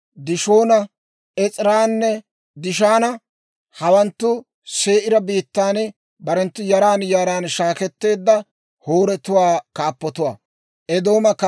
Dishoona, Es'eeranne Dishaana. Hawanttu Se'iira biittan barenttu yaran yaran shaaketteedda Hooretuwaa kaappatuwaa.